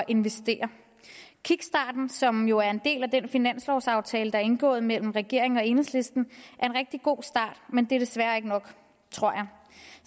investere kickstarten som jo er en del af den finanslovaftale der er indgået mellem regeringen og enhedslisten er en rigtig god start men det er desværre ikke nok tror jeg